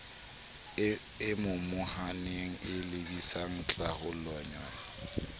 e momohaneng e lebisang tlhalohanyong